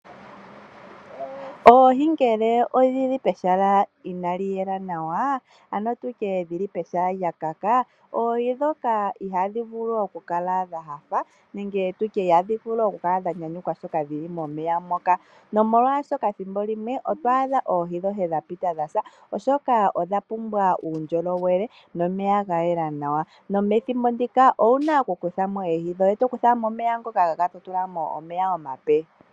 Oohi ngele odhili pehala inaliyela nawa ano dhili pehala lya kaka oohi ndhoka ihadhi vulu okukala dha panda ihadhivulu okukala dha nyanyukwa ngele dhili momeya moka, nomolwaashoka ethimbo limwe oto adha oohi dhoye dha pita dhasa oshoka odhapumbwa uundjolowele nomeya ga yela nawa ,nomethimbo ndika owuna okukuthamo oohi dhoye. Tokuthamo omeya ngoka ga kaka totulamo omeya ngoka omape.